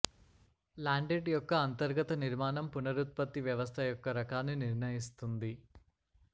లాండెట్ యొక్క అంతర్గత నిర్మాణం పునరుత్పత్తి వ్యవస్థ యొక్క రకాన్ని నిర్ణయిస్తుంది